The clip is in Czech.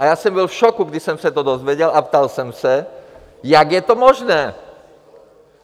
A já jsem byl v šoku, když jsem se to dozvěděl, a ptal jsem se, jak je to možné!